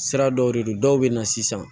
Sira dɔw de do dɔw bɛ na sisan